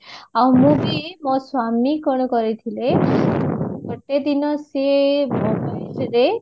ଆଉ ମୁଁ ବି ମୋ ସ୍ଵାମୀ କଣ କରିଥିଲେ ଗୋଟେ ଦିନ ସିଏ